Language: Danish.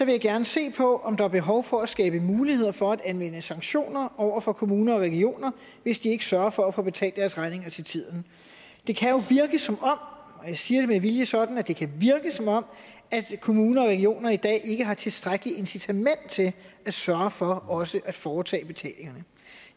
jeg gerne se på om der er behov for at skabe muligheder for at anvende sanktioner over for kommuner og regioner hvis de ikke sørger for at få betalt deres regninger til tiden det kan jo virke som om og jeg siger det med vilje sådan altså at det kan virke som om kommuner og regioner i dag ikke har tilstrækkeligt incitament til at sørge for også at foretage betalingerne